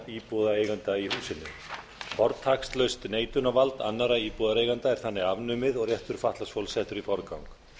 íbúðareigenda í húsinu fortakslaust neitunarvald annarra íbúðareigenda er þannig afnumið og réttur fatlaðs fólks settur í forgang